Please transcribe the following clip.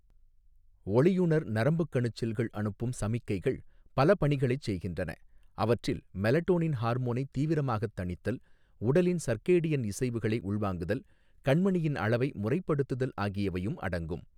ஒளியுணர் நரம்புக்கணுச் செல்கள் அனுப்பும் சமிக்கைகள் பல பணிகளைச் செய்கின்றன, அவற்றில் மெலடோனின் ஹார்மோனை தீவிரமாகத் தணித்தல், உடலின் சர்கேடியன் இசைவுகளை உள்வாங்குதல், கண்மணியின் அளவை முறைப்படுத்துதல் ஆகியவையும் அடங்கும்.